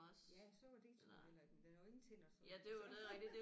Ja sukker det er sgu heller ikke men den har jo ingen tænder så altså